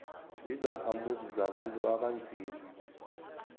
zizakhamuzi zabantu abanzima